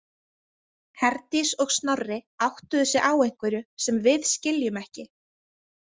Herdís og Snorri áttuðu sig á einhverju sem við skiljum ekki.